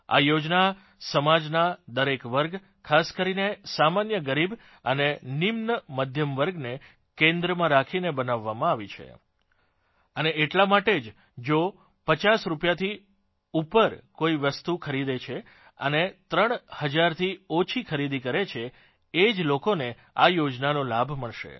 આ યોજના સમાજનાં દરેક વર્ગ ખાસ કરીને સામાન્ય ગરીબ અને નિમ્ન મધ્યમ વર્ગને કેન્દ્રમાં રાખીને બનાવવામાં આવી છે અને એટલા માટે જ જો 50 રૂપીયાથી ઉપર કોઇ વસ્તુ ખરીદે છે અને ત્રણ હજારથી ઓછી ખરીદી કરે છે એ જ લોકોને આ યોજનાનો લાભ મળશે